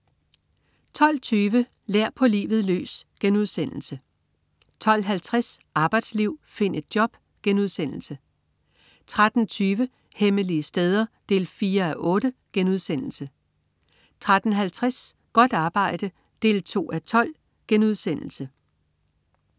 12.20 Lær på livet løs* 12.50 Arbejdsliv, find et job* 13.20 Hemmelige steder 4:8* 13.50 Godt arbejde 2:12*